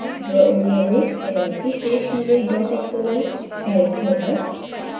draw area में पहले से सेव की गई xml फाइल खोलना